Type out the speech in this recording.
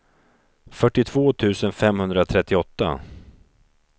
fyrtiotvå tusen femhundratrettioåtta